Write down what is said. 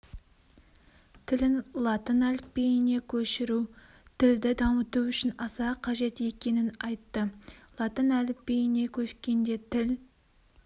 тілін латын әліпбиіне көшіру тілді дамыту үшін аса қажет екенін айтты латын әліпбиіне көшкенде тіл